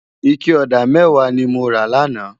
Iké òdá mèwá ni mó rá làná